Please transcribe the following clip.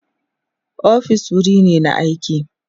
ofis wuri ne na aiki